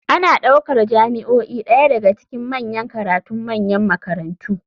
Ana ɗaukar jami'o'i ɗaya daga cikin manyan karatun manyan makarantu.